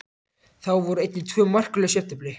Þá voru einnig tvö markalaus jafntefli.